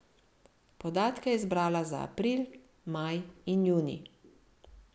Podatke je zbrala za april, maj in junij.